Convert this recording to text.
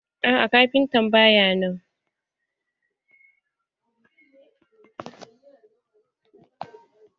Aa kafintan ba ya nan.